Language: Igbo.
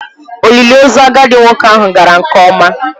Olili ozu agadi nwoke ahụ gara nke ọma.